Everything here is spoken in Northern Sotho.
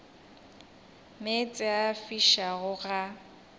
meetse a a fišago ga